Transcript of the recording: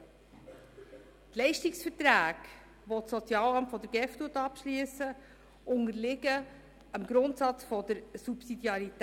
Die Leistungsverträge, die das Sozialamt der GEF abschliesst, unterliegen dem Grundsatz der Subsidiarität.